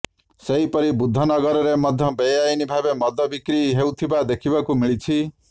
ସେହିପରି ବୁଦ୍ଧନଗରରେ ମଧ୍ୟ ବେଆଇନ୍ ଭାବେ ମଦ ବିକ୍ରି ହେଉଥିବା ଦେଖିବାକୁ ମିଳିଛି